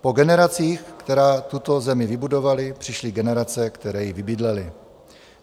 Po generacích, které tuto zemi vybudovaly, přišly generace, které ji vybydlely.